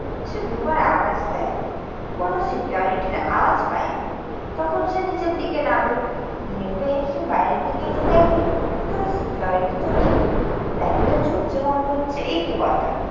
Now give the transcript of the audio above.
সে দুবার আওয়াজ দেয়। কোনো security র আওয়াজ পায় না। তখন সে নিচের দিকে নাবে। নেবে এসে বাইরের দিকে গিয়ে দেখে ভেতরে security তো নেই। লাইটটা জ্বলছে বন্ধ হচ্ছে। এ কি কথা?